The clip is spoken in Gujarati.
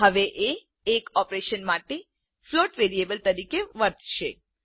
હવે એ એક ઓપરેશન માટે ફ્લોટ વેરિયેબલ તરીકે વર્તશે